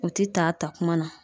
O te ta a ta kuma na.